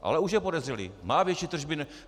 Ale už je podezřelý - má větší tržby.